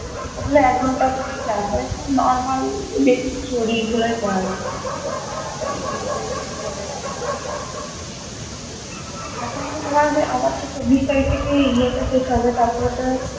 ওগুলো একঘন্টা করেই class হয় খুব normal basic theory গুলি পড়ায় খালি আলাদা আর কিছুই পড়ায় না এখন তো তোমার আমার চব্বিশ তারিখ থেকে ইয়ে টা শেষ হবে তখন ও তো